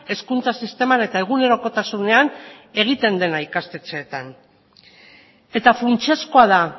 hezkuntza sisteman eta egunerokotasunean egiten dena ikastetxeetan eta funtsezkoa da